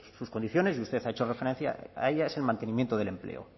sus condiciones y usted ha hecho referencia a ella es el mantenimiento del empleo